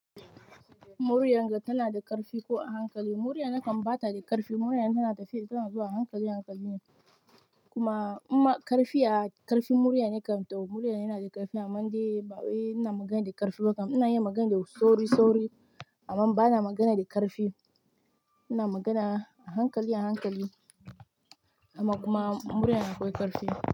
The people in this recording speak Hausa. Muryarka tana da ƙarfi ko a hankali? Murya na kan ba ta da ƙarfi. Murya na tana tafe, tana zuwa a hankali, hankali ne. Kuma imma ƙarfi a, ƙarfin murya ne kam, to muryar na yana da ƙarfi amman dai ba wai ina magana da ƙarfi ba kam. Ina yin magana da sauri, sauri amman ba na magana da ƙarfi. Ina magana a hankali, a hankali amma kuma muryar akwai ƙarfi.